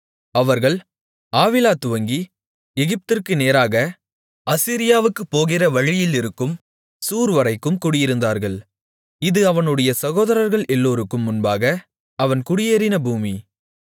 அவர்கள் ஆவிலா துவங்கி எகிப்திற்கு நேராக அசீரியாவுக்குப் போகிற வழியிலிருக்கும் சூர் வரைக்கும் குடியிருந்தார்கள் இது அவனுடைய சகோதரர்கள் எல்லோருக்கும் முன்பாக அவன் குடியேறின பூமி